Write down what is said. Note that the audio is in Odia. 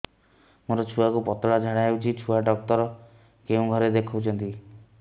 ମୋର ଛୁଆକୁ ପତଳା ଝାଡ଼ା ହେଉଛି ଛୁଆ ଡକ୍ଟର କେଉଁ ଘରେ ଦେଖୁଛନ୍ତି